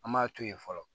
An m'a to yen fɔlɔ